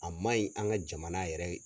A man ɲi an ka jamana yɛrɛ